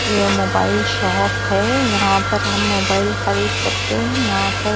ये mobile shop है यहाँ पर हम मोबाइल खरीद सकते हैं यहाँ पर --